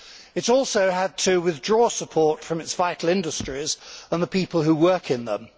It has also had to withdraw support from its vital industries and the people who work in them.